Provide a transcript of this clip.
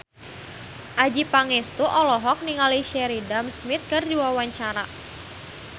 Adjie Pangestu olohok ningali Sheridan Smith keur diwawancara